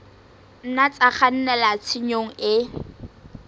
nna tsa kgannela tshenyong e